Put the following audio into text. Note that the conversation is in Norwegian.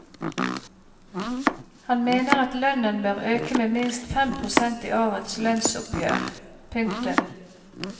Han mener at lønnen bør øke med minst fem prosent i årets lønnsoppgjør. punktum